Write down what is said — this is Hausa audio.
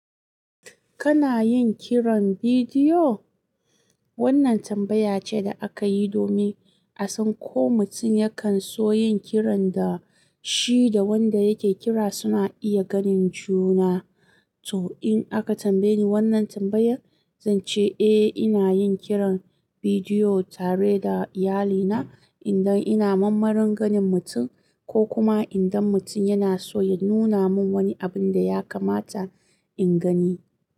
Kana yin kiran bidiyo? Wannan tambaya ce da aka yi domin a san ko mutum yakan so yin kiran da shi da wanda yake kira suna iya ganin juna. To in aka tambaye ni wannan tambayar, zan ce eh ina yin kiran bidiyo tare da iyalina idan ina mammar marin ganin mutum ko kuma idan mutum yana soya nuna min wani abin da ya kamata in gani.